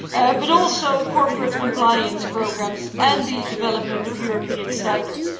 but also corporate compliance programmes and the development of European standards.